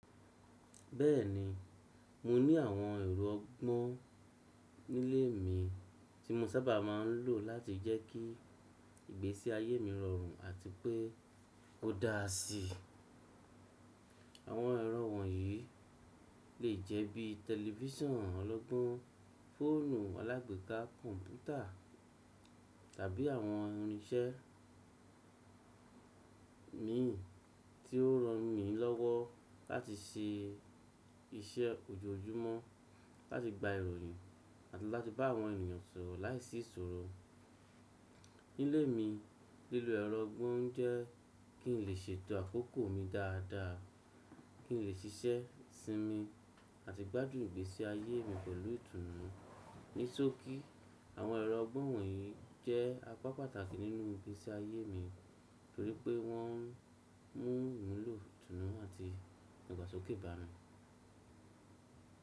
Bẹ́ẹ̀ni, mo ní àwọn ẹ̀rọ ọgbọ́n nílé mi tí mo sábà máa ń lò láti jẹ́ kí ìgbésí ayé mi rọrùn àti pé kó dára sí. Àwọn ẹ̀rọ wọ̀nyí lè jẹ́ bí tẹlifísàn ọlọ́gbọ́n, fóònù alágbèéká, kọ̀ǹpútà tàbí àwọn irínṣẹ́ mi tí ó ràn mí lọ́wọ́ láti ṣe iṣẹ́ ojoojúmọ́, láti gba ìròyìn àti láti bá àwọn ènìyàn sọ̀rọ̀ láìsí ìṣòro. Nílé mi, lílo ẹ̀rọ ọgbọ́n jẹ́ kí n lè ṣètò àkókò mi dáadáa, kí n lè ṣiṣẹ́ sinmi àti gbádùn ìgbésí ayé mi pẹ̀lú ìtùnú. Nisóki, àwọn ẹ̀rọ ọgbọ́n wọ̀nyí jẹ́ apá pàtàkì nínú ìgbésí ayé mi torí pé wọ́n mú iwulò ìtùnú àti ìgbàsọkè ìbámu.